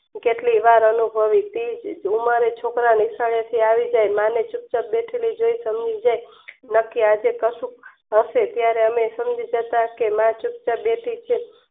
કે કેટલી વાર અનુભવી રુમારે છોકરા નિશાળે થી આવીને માં ને ચુપચાપ બેઠેલી જોય સમજી જય બાકી આજ કાંસુ હશે ત્યરે અમે કે માં ચપ છાપ બેઠી છે